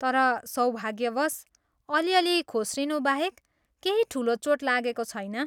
तर सौभाग्यवश, अलिअलि खोस्रिनुबाहेक केही ठुलो चोट लागेको छैन।